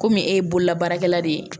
Komi e ye bololabaarakɛla de ye